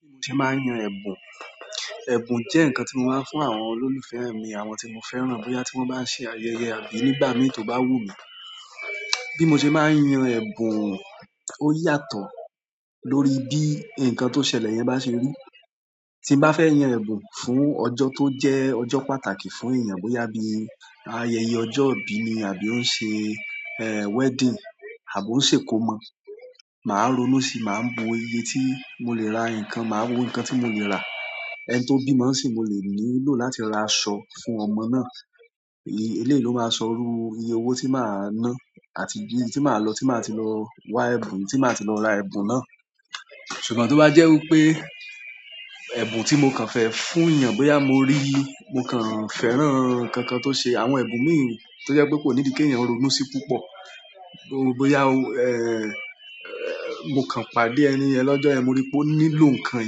Bí mo ṣe máa ń yan ẹ̀bùn. Ẹ̀bùn jẹ́ ǹkan tí mo máa ń fún àwọn olólùfẹ́ mi, àwọn tí mo fẹ́ràn bóyá tí wọ́n bá ṣe ayẹyẹ àbí nígbà mi tó bá wù mí. Bí mo ṣe máa ń yan ẹ̀bùn, ó yàtọ̀ lórí bí ǹkan tó ṣẹlẹ̀ yẹn bá ṣe rí. Tí mo bá fẹ́ yan ẹ̀bùn fún ọjọ́ tó jẹ́ ọjọ́ pàtàkì fún èèyàn, bóyá bí ayẹyẹ ọjọ́ ìbí ni àbí ó ń ṣe, eh, wedding àbí ó ń ṣe ikomọ, màá ronú sí i, màá wo iye tí mo lè ra ǹkan, màá wo ǹkan tí mo lè rà. Ẹni tó bímọ n sìí mo lè nílò láti ra aṣọ fún ọmọ náà. Eléyìí ló máa sọrú iye owó tí màá ná àti ibi tí màá lọ, tí màá ti lọ wa ẹ̀bùn, tí màá ti lọ ra ẹ̀bùn náà. Ṣùgbọ́n tí ó bá jẹ́ wí pé ẹ̀bùn tí mo kan fẹ́ fún èèyàn bóyá mo rí, mo kàn fẹ́ràn nkankan tó ṣe àwọn ẹ̀bùn mi tí ó jẹ́ pé kò ní ìdí ki èèyàn ronú sí púpọ̀. Bóyá, eh, mo kàn pàdé ẹni ẹ̀ lọ́jọ́, mo rí pé ó nílò ǹkan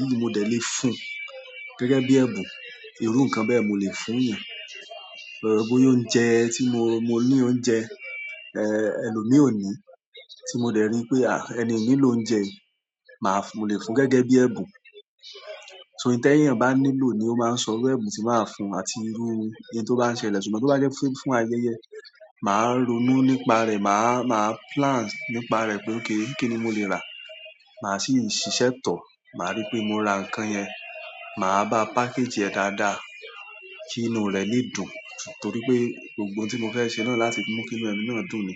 yìí, mo dẹ̀ lè fún gẹ́gẹ́ bí ẹ̀bùn. Ìrú ǹkan bẹ́ẹ̀ mo lè fún èèyàn. Bóyá oúnjẹ tí mo, mo ní oúnjẹ, eh, ẹlòmíì ò ní tí mo dẹ̀ rí pé, ah, ẹni òní ló ń jẹ, màá fún, lè fún gẹ́gẹ́ bí ẹ̀bùn. So un ti èèyàn bá nílò ni ó máa ń sọrú ẹ̀bùn tí màá ra fún àti irú iye tó bá ṣẹlẹ̀. Ṣùgbọ́n tí ó bá jẹ́ fún ayẹyẹ, màá ronú nípa rẹ̀, màá, màá plan nípa rẹ̀ pé ókè, kí ni mo lè rà. Màá sì ṣiṣẹ́ tọ̀. Màá rí pé mo ra ǹkan yẹn, màá bá package rẹ̀ dáadáa kí inú rẹ̀ lè dùn. Nítorí pé gbogbo ohun tí mo fẹ́ ṣe náà láti mú kí inú ẹni náà dùn ni.